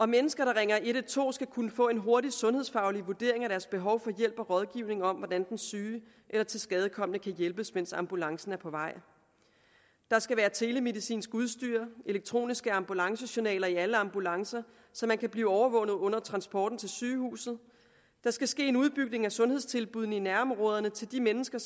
mennesker der ringer en hundrede og tolv skal kunne få en hurtig sundhedsfaglig vurdering af deres behov for hjælp og rådgivning om hvordan den syge eller tilskadekomne kan hjælpes mens ambulancen er på vej der skal være telemedicinsk udstyr og elektroniske ambulancejournaler i alle ambulancer så man kan blive overvåget under transporten til sygehuset der skal ske en udbygning af sundhedstilbuddene i nærområderne til de mennesker